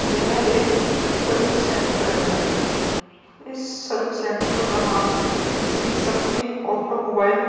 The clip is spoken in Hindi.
यह एक सर्विस सेंटर है इस सर्विस सेंटर का नाम श्री शक्ति ऑटोमोबाइल --